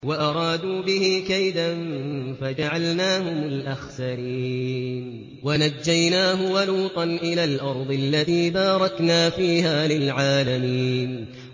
وَأَرَادُوا بِهِ كَيْدًا فَجَعَلْنَاهُمُ الْأَخْسَرِينَ